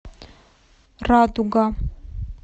радуга